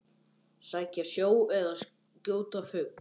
Sækja sjó eða skjóta fugl.